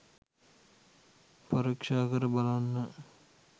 පරීක්‍ෂාකර බලන්න.